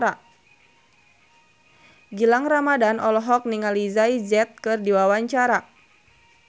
Gilang Ramadan olohok ningali Jay Z keur diwawancara